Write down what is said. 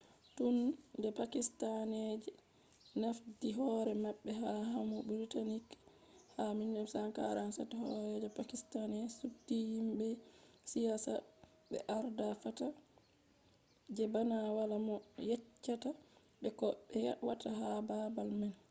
tun de pakistani jafti hore mabbe ha lamu british ha 1947 horeejo pakistani subti himbe siyasa be arda fata je bana wala mo yeccata be ko be watta ha babal man